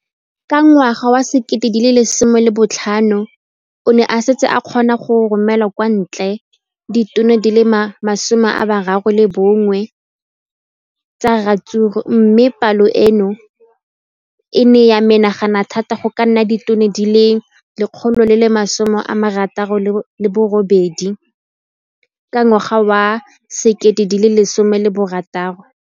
Ka ngwaga wa 2015, o ne a setse a kgona go romela kwa ntle ditone di le 31 tsa ratsuru mme palo eno e ne ya menagana thata go ka nna ditone di le 168 ka ngwaga wa 2016.